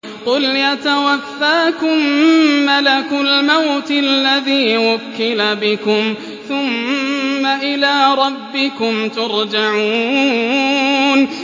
۞ قُلْ يَتَوَفَّاكُم مَّلَكُ الْمَوْتِ الَّذِي وُكِّلَ بِكُمْ ثُمَّ إِلَىٰ رَبِّكُمْ تُرْجَعُونَ